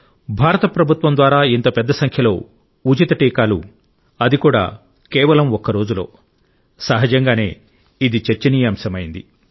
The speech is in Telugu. భారత ప్రభుత్వం ద్వారా ఇంత పెద్ద సంఖ్యలో ఉచిత టీకాలు అది కూడా కేవలం ఒక్క రోజులో సహజంగానే ఇది చర్చనీయాంశమైంది